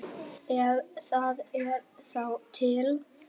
Ef það er þá til.